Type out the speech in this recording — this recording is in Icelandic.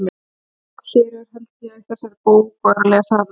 ÉG, hér held ÉG á þessari bók og er að lesa hana með eigin augum.